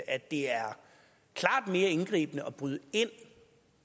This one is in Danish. at det er klart mere indgribende at bryde ind